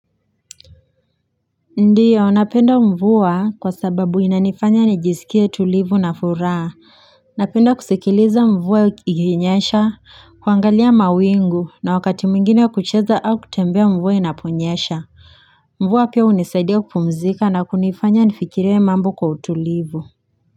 Ndio napenda mvua kwa sababu inanifanya nijisikie tulivu na furaha napenda kusikiliza mvua ikinyesha kuangalia mawingu na wakati mwingine kucheza au kutembea mvua inaponyasha mvua pia hunisaidia kupumzika na kunifanya nifikirie mambo kwa utulivu.